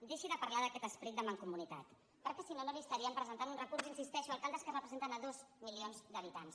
deixi de parlar d’aquest esperit de mancomunitat perquè si no no li estaríem presentant un recurs hi insisteixo alcaldes que representen dos milions d’habitants